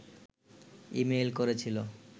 email করেছিল